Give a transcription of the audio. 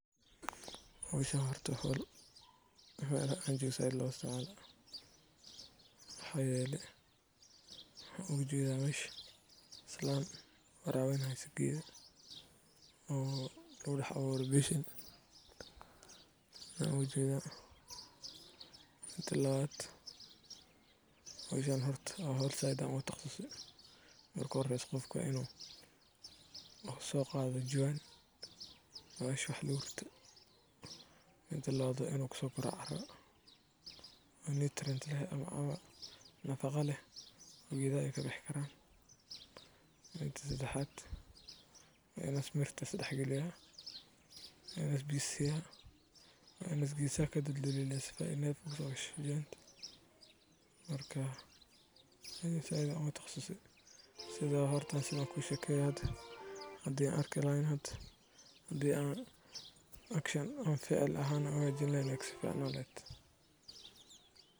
Meshaan waxan oga jedaa abuurka ama geedka yar ayaa lagu dhex beeraa, iyadoo la hubinayo in carradu si fiican u qoyan tahay laakiin aanay biyuhu dul istaagin. Jawaan kasta waxaa loo dhigaa meel ay qoraxdu si fiican u gaarto, waxaana si joogto ah loo waraabiyaa loona nadiifiyaa. Habkan wuxuu caawiyaa koboca dhirta, gaar ahaan dhir yar-yar sida yaanyada, basasha, dhir udgoon, ama dhir ubax leh. Sidoo kale, waa hab fudud oo dhaqaalihiisa yar yahay.